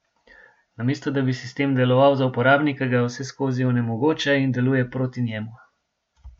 Namesto, da bi sistem deloval za uporabnika, ga vseskozi onemogoča in deluje proti njemu.